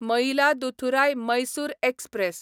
Mayiladuthurai Mysore express